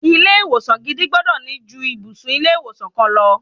Ilé ìwòsan gidi gbọ́dọ̀ ní ju ibùsùn ilé ìwòsan kan lọ.